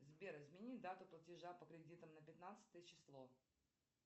сбер измени дату платежа по кредиту на пятнадцатое число